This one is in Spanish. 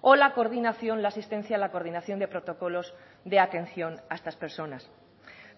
o la coordinación la asistencia a la coordinación de protocolos de atención a estas personas